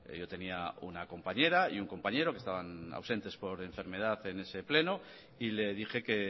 yo tenía una compañera y un compañero que estaban ausentes por enfermedad en ese pleno y le dije que